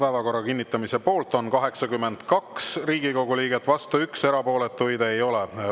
Päevakorra kinnitamise poolt on 82 Riigikogu liiget, vastu 1, erapooletuid ei ole.